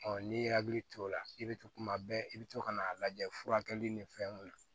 n'i hakili t'o la i bɛ to kuma bɛɛ i bɛ to ka n'a lajɛ furakɛli ni fɛn mun na